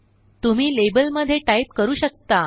तुम्ही लेबल मध्ये टाईप करू शकता